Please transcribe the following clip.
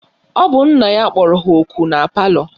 Ọ bụ nna ya kpọrọ ha ọkụ na palọ?